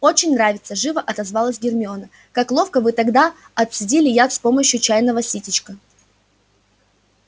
очень нравится живо отозвалась гермиона как ловко вы тогда отцедили яд с помощью чайного ситечка